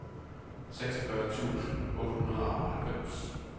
seksogfyrre tusind otte hundrede og halvfems